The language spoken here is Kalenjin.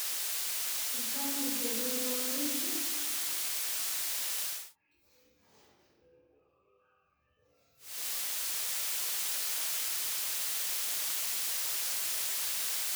Ichame itepe ko orit.